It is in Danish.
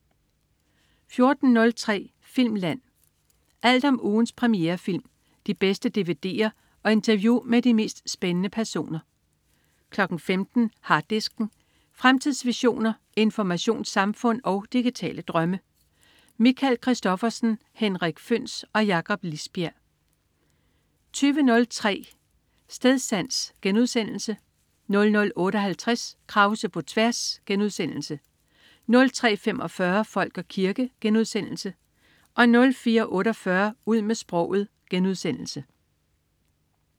14.03 Filmland. Alt om ugens premierefilm, de bedste dvd'er og interview med de mest spændende personer 15.00 Harddisken. Fremtidsvisioner, informationssamfund og digitale drømme. Michael Christophersen, Henrik Føhns og Jakob Lisbjerg 20.03 Stedsans* 00.58 Krause på tværs* 03.45 Folk og kirke* 04.48 Ud med sproget*